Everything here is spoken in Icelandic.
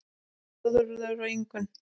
Þórður og Ingunn.